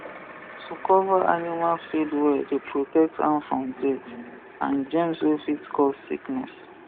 to cover animal feed well dey protect am from dirt and germs wey fit cause sickness